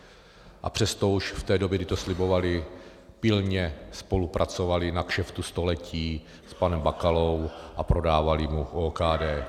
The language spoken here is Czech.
A přesto už v té době, kdy to slibovali, pilně spolupracovali na kšeftu století s panem Bakalou a prodávali mu OKD.